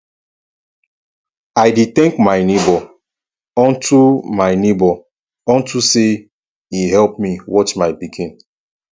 i dey thank my neighbour unto my neighbour unto say e help me watch my pikin